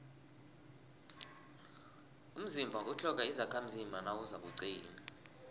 umzimba utlhoga izakhamzimba nawuzakuqina